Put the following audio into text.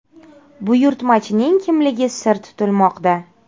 Buyurtmachining kimligi sir tutilmoqda.